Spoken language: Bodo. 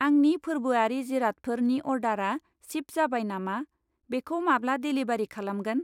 आंनि फोर्बोआरि जिरादफोर नि अर्डारा सिप जाबाय नामा? बेखौ माब्ला डेलिबारि खालामगोन?